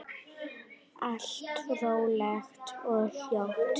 Allt rólegt og hljótt.